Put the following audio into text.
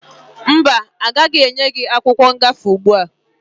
Mba, agaghị enye gị akwụkwọ ngafe ugbua.